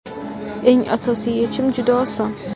Eng asosiy yechim juda oson.